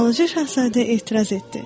Balaca şahzadə etiraz etdi.